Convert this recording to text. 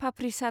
papri चाट